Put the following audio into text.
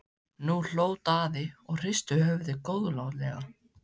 Nú hló Daði og hristi höfuðið góðlátlega.